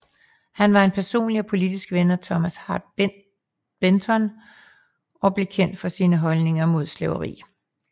Han var en personlig og politisk ven af Thomas Hart Benton og blev kendt for sine holdninger imod slaveri